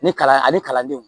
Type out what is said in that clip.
Ni kalan ani kalandenw